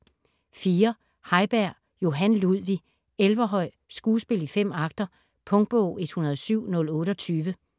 Heiberg, Johan Ludvig: Elverhøi: Skuespil i 5 acter Punktbog 107028